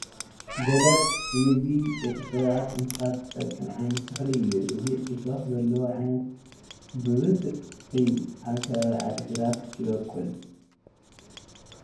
በለስ ንምግቢ ደቂ ሰባትን እንስሳን ዝጠቕም ዓይነት ተኽሊ እዩ፡፡ እዚ እሾኽ ዘለዎ ዓይነት ተኽሊ ብብዝሒ ኣብ ከባቢ ዓዲ ግራት ይበቑል፡፡